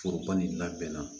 Foroba nin labɛnna